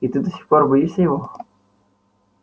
и ты до сих пор боишься его